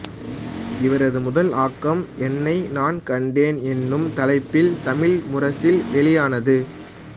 இவரது முதல் ஆக்கம் என்னை நான் கண்டேன் எனும் தலைப்பில் தமிழ் முரசில் வெளியானது